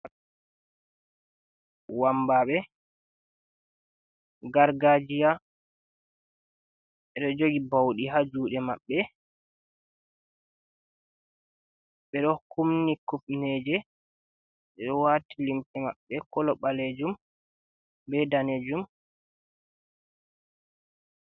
Wambabe gargajia ɓedo jogi baudi ha jude mabɓe be do kunni kupneje ɓedo wati limse mabbe kolo balejum be danejum.